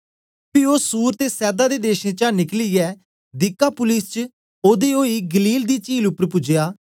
पी ओ सूर ते सैदा दे देशें चा निकलियै दिकापुलिस च ओदे ओई गलील दी चील उपर पूज्या